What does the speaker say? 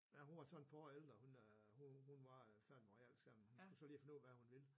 Ja hun var så et par år ældre hun øh hun var ???????? hun skulle så lige finde ud af hvad hun ville